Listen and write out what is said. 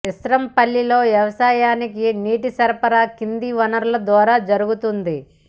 ఇస్రాంపల్లిలో వ్యవసాయానికి నీటి సరఫరా కింది వనరుల ద్వారా జరుగుతోంది